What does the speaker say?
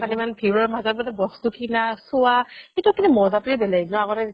তাত ইমান ভিৰৰ মাজত বস্তু কিনা চুৱা সেইটো মজাতোৱে বেলেগ আগতে